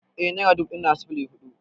Eh nera dubu ɗaya na da sifili hudu